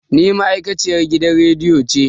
Ni ma'aikaciyan gidan radiyo ce